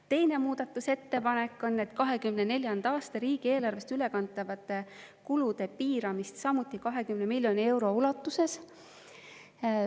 Teine muudatusettepanek on, et 2024. aasta riigieelarvest ülekantavaid kulusid piirata samuti miljoni euro ulatuses.